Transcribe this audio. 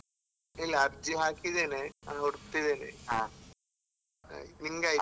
ಇಲ್ಲ ಅರ್ಜಿ ಹಾಕಿದ್ದೇನೆ ಹುಡುಕ್ತಿದ್ದೆನೆ ನಿನ್ಗೆ ಆಯ್ತಾ?